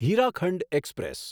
Hirakhand express